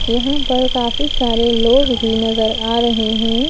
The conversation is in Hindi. यहाँ पर काफी सारे लोग भी नज़र आ रहे हैं।